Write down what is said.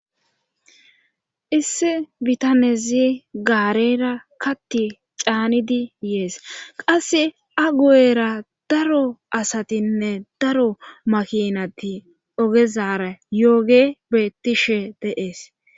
issi bitanezi gaarera katti caanidi yees qasse a gu7era daro asatinne daro makinati ogezara yooge bettishe de'ees